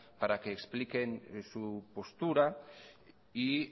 para que expliquen su postura y